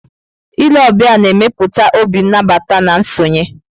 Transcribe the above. Ile ọbịa na-emepụta obi nabata na nsonye.